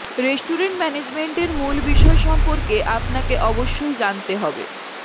restaurant management এর মূল বিষয় সম্পর্কে আপনাকে অবশ্যই জানতে হবে